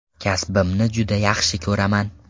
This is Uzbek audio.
Kasbimni juda yaxshi ko‘raman.